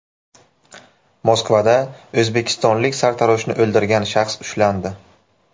Moskvada o‘zbekistonlik sartaroshni o‘ldirgan shaxs ushlandi.